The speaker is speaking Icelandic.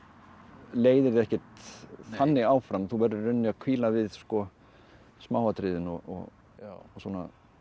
leiðir þig ekkert þannig áfram þú verður í rauninni að hvíla við smáatriðin og svona